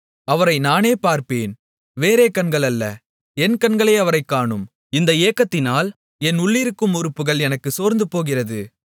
அவரை நானே பார்ப்பேன் வேறே கண்கள் அல்ல என் கண்களே அவரைக் காணும் இந்த ஏக்கத்தினால் என் உள்ளிருக்கும் உறுப்புகள் எனக்குள் சோர்ந்துபோகிறது